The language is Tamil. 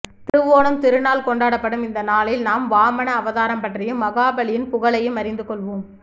திருவோணம் திருநாள் கொண்டாடப்படும் இந்த நாளில் நாம் வாமன அவதாரம் பற்றியும் மகாபலியின் புகழையும் அறிந்து கொள்வோம்